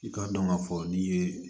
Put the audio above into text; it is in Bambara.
I k'a dɔn k'a fɔ n'i ye